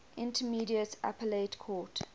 intermediate appellate court